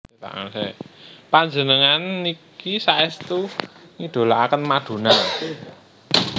Panjenengan niki saestu ngidolaaken Madonna?